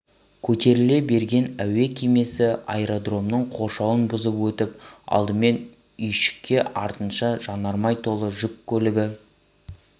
көтеріле берген әуе кемесі аэродромның қоршауын бұзып өтіп алдымен үйшікке артынша жанармай толы жүк көлігі